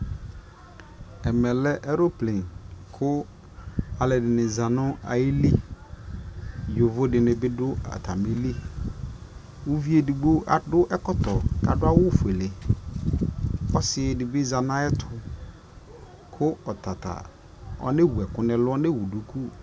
ɛmɛ lɛ aeroplane kʋalʋɛdini zanʋ ayili, yɔvɔ dini bi dʋ atami li, ʋviɛ ɛdigbɔ adʋ ɛkɔtɔ kʋ adʋ awʋ ƒʋɛlɛ, ɔsii dibi zanʋ ayɛtʋ kʋ ɔtata ɔnɛ wʋ ɛkʋ nʋ ɛlʋ, ɔnɛ wʋ dʋkʋ